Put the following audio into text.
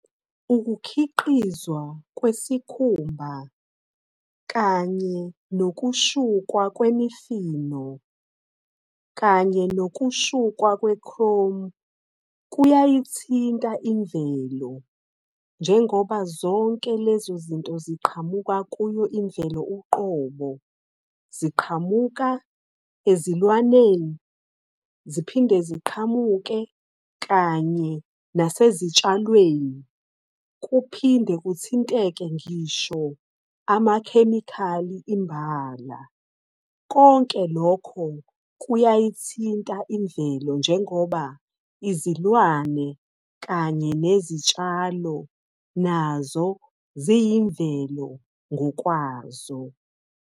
Ukukhiqizwa kwesikhumba kanye nokushukwa kwemifino kanye nokushukwa kwe-chrome, kuyayithinta imvelo. Njengoba zonke lezozinto ziqhamuka kuyo imvelo uqobo. Ziqhamuka ezilwaneni, ziphinde ziqhamuke kanye nasezitshalweni. Kuphinde kuthinteke ngisho amakhemikhali imbala. Konke lokho kuyayithinta imvelo, njengoba izilwane kanye nezitshalo nazo ziyimvelo ngokwazo.